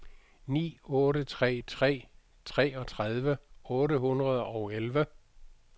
ni otte tre tre treogtredive otte hundrede og elleve